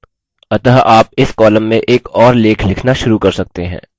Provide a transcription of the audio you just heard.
अतः आप इस column में एक और लेख लिखना शुरू कर सकते हैं